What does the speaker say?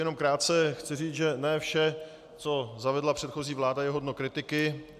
Jenom krátce chci říct, že ne vše, co zavedla předchozí vláda, je hodno kritiky.